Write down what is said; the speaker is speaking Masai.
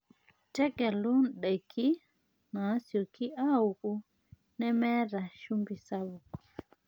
Tegelu ndaiki naasioki aaku nemeeta shumbi sapuk.